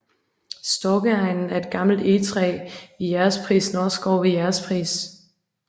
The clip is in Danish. Storkeegen er et gammelt egetræ i Jægerspris Nordskov ved Jægerspris